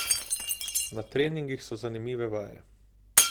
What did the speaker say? Na treningih so zanimive vaje.